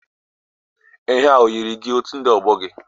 Ihe a o yiri gi otu ndị ọgbọ gị?